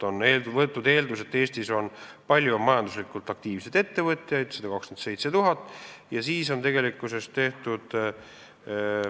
On võetud eelduseks, et Eestis on palju majanduslikult aktiivseid ettevõtjaid, 127 000.